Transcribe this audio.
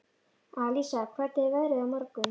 Alísa, hvernig er veðrið á morgun?